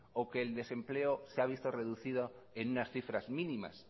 o que el desempleo se ha visto reducido en unas cifras mínimas